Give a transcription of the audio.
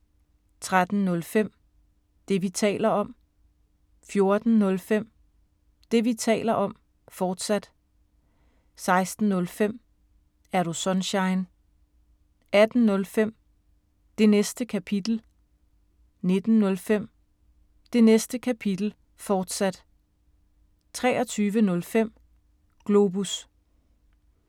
13:05: Det, vi taler om 14:05: Det, vi taler om, fortsat 16:05: Er Du Sunshine? 18:05: Det Næste Kapitel 19:05: Det Næste Kapitel, fortsat 23:05: Globus